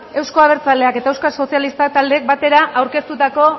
euzko abertzaleak eta euskal sozialistak taldeek batera aurkeztutako